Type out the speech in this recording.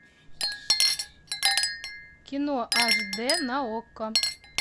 кино аш д на окко